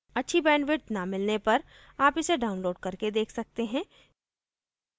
अच्छी bandwidth न मिलने पर आप इसे download करके देख सकते हैं